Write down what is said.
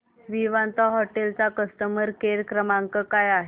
Vivanta hotel चा customer care क्रमांक काय आहे